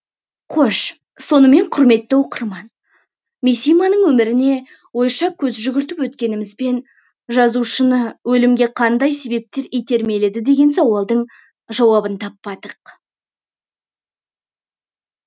қош сонымен құрметті оқырман мисиманың өміріне ойша көз жүгіртіп өткенімізбен жазушыны өлімге қандай себептер итермеледі деген сауалдың жауабын таппадық